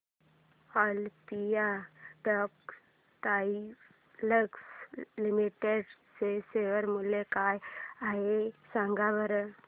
Olympia textiles limited चे share मूल्य काय आहे सांगा बरं